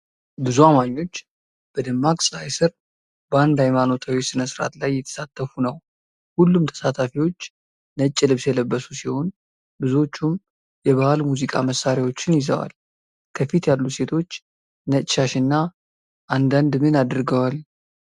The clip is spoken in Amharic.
ብዙ አማኞች በደማቅ ፀሐይ ስር በአንድ ሃይማኖታዊ ሥነ ሥርዓት ላይ እየተሳተፉ ነው። ሁሉም ተሳታፊዎች ነጭ ልብስ የለበሱ ሲሆኑ፣ ብዙዎቹም የባህል ሙዚቃ መሳሪያዎችን ይዘዋል። ከፊት ያሉት ሴቶች ነጭ ሻሽና አንዳንድ ምን አድርገዋል።